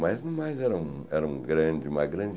Mas, no mais, era um era um grande uma grande